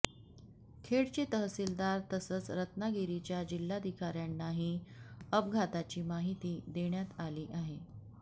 खेडचे तहसीलदार तसंच रत्नागिरीच्या जिल्हाधिकाऱ्यांनाही अपघाताची माहिती देण्यात आली आहे